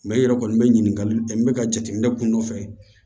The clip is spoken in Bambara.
i yɛrɛ kɔni bɛ ɲininkali kɛ n bɛ ka jateminɛ kun dɔ fɛ